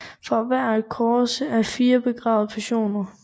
For hvert kors er der fire begravede personer